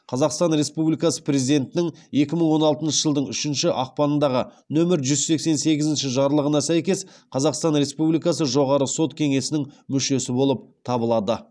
қазақстан республикасы президентінің екі мың он алтыншы жылдың үшінші ақпанындағы нөмірі жүз сексен сегізінші жарлығына сәйкес қазақстан республикасы жоғары сот кеңесінің мүшесі болып табылады